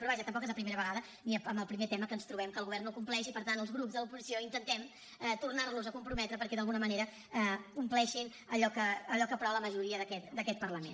però vaja tampoc és la primera vegada ni amb el primer tema que ens trobem que el govern no compleix i per tant els grups de l’oposició intentem tornar los a comprometre perquè d’alguna manera compleixin allò que aprova la majoria d’aquest parlament